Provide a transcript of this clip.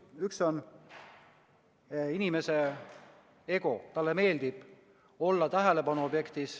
Üks on inimese ego, talle meeldib olla tähelepanu objekt.